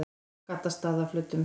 Gaddstaðaflötum